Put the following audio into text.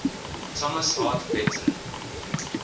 thomas hart benton